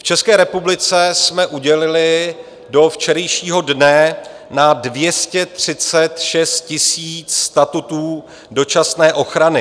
V České republice jsme udělili do včerejšího dne na 236 000 statutů dočasné ochrany.